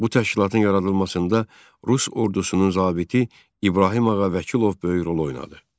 Bu təşkilatın yaradılmasında Rus ordusunun zabiti İbrahim Ağa Vəkilov böyük rol oynadı.